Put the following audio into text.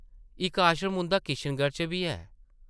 इक्क आश्रम उंʼदा किशनगढ़ च बी ऐ ।